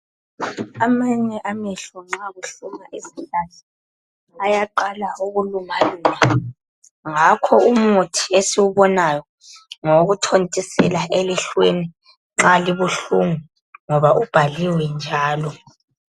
Amanye amehlo nxa kuhluma izihlahla ayaqala ukuluma luma ngakho umuthi esiwubonayo ngowokuthontisela elihlweni nxa libuhlungu ngoba ubhaliwe njalo.